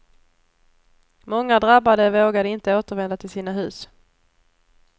Många drabbade vågade inte återvända till sina hus.